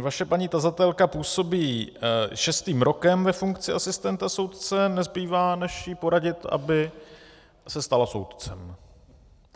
vaše paní tazatelka působí šestým rokem ve funkci asistenta soudce, nezbývá, než jí poradit, aby se stala soudcem.